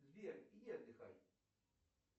сбер иди отдыхай